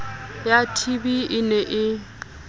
ya tb e ne e